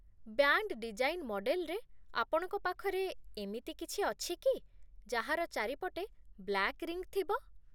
Band design ମଡେଲ୍‌ରେ, ଆପଣଙ୍କ ପାଖରେ ଏମିତି କିଛି ଅଛି କି ଯାହାର ଚାରିପଟେ ବ୍ଲାକ୍ ରିଙ୍ଗ୍ ଥିବ?